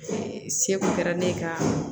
Seko kɛra ne ka